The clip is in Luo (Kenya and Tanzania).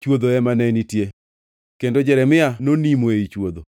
chwodho ema ne nitie, kendo Jeremia nonimo ei chwodho.